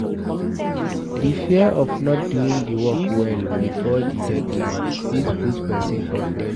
The fear of not doing di work well before di deadline fit put person for pressure